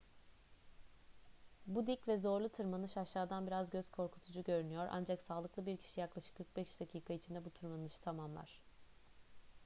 bu dik ve zorlu tırmanış aşağıdan biraz göz korkutucu görünüyor ancak sağlıklı bir kişi yaklaşık 45 dakika içinde bu tırmanışı tamamlar